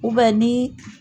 ni